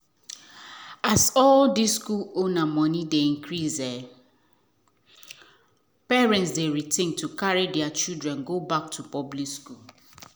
as all these school owner money dey increase parent dey rethink to carry there children back to public school.